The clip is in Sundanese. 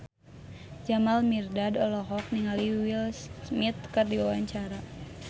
Jamal Mirdad olohok ningali Will Smith keur diwawancara